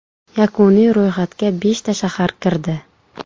Yakuniy ro‘yxatga beshta shahar kirdi.